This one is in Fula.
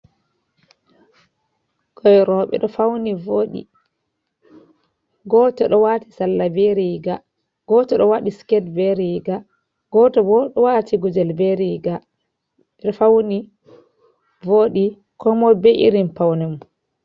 Ɓikkoi rouɓe ɗo fauni voɗi, goto ɗo wati salla be riga ,goto ɗo wati siket be riga. Goto bo ɗo wati gudel be riga, ɓeɗo fauni voɗi Komoi be irin paune mum.